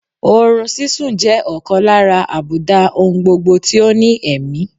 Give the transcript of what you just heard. Oorun sísun jẹ́ ọ̀kan lára àbùdá oungbogbo tí ó ní ẹ̀mí